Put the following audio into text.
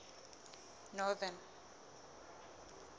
northern